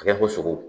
A kɛ ko sogo